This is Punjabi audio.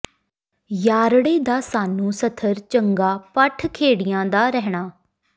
ਯਾਰੜੇ ਦਾ ਸਾਨੂੰ ਸਥਰ ਚੰਗਾ ਭਠ ਖੇੜਿਆਂ ਦਾ ਰਹਣਾ